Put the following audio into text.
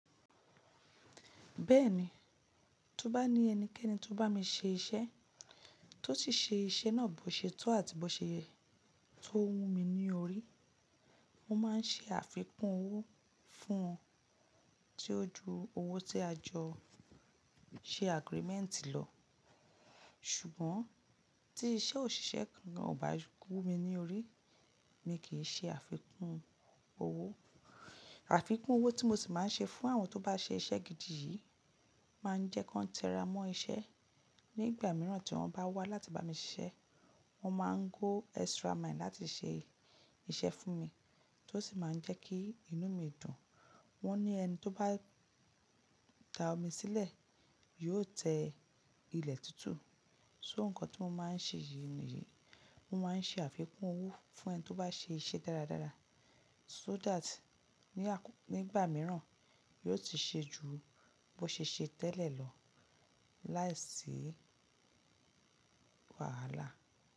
Bẹ́ẹ̀ni, tó bá ní ẹnikẹ́ni tó bá mi ṣe iṣẹ́, tó sì ṣe iṣẹ́ náà bó ṣetó àti bó ṣe tó wù mí ní orí, mo máa ń ṣe àfikún owó fún wọn tí ó ju owó tí a jọ ṣe agreement lọ. Ṣùgbọ́n tí iṣẹ́ òṣìṣẹ́ kan kò bá kú mi ní orí, mi kì í ṣe àfikún owó. Àfikún owó tí mo sì máa ń ṣe fún àwọn tó bá ṣe iṣẹ́ gidi yìí máa ń jẹ́ kí wọ́n tẹra mọ́ iṣẹ́. Ní ìgbà mìíràn tí wọ́n bá wá láti bá mi ṣiṣẹ́, wọ́n máa ń go extra mile láti ṣe iṣẹ́ fún mi tó sì máa ń jẹ́ kí inú mi dùn. Wọ́n ní ẹni tó bá da omi sílẹ̀ yóò tẹ ilẹ̀ tútù. So nǹkan tí mo máa ń ṣe yìí ni, mo máa ń ṣe àfikún owó fún ẹni tó bá ṣe iṣẹ́ dáradára so that ní ìgbà mìíràn, yóò ti ṣe ju bó ṣe ṣe tẹ́lẹ̀ lọ. Láìsí wàhálà.